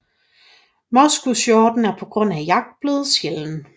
Moskushjorten er på grund af jagt blevet sjælden